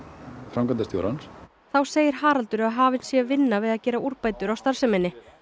framkvæmdastjórans þá segir Haraldur að hafin sé vinna við að gera úrbætur á starfseminni